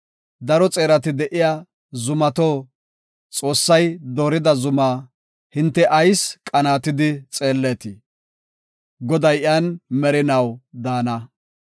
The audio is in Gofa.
Daro xeerati de7iya zumato, Xoossay doorida zumaa hinte ayis qanaatidi xeelleetii? Goday iyan merinaw daana.